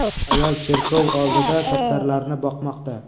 Ayol cherkov oldida kaptarlarni boqmoqda.